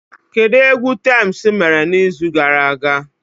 Kedu egwu Tems mere n'izu gara aga?